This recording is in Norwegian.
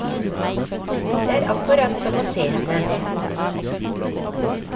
Det er akkurat som å se henne.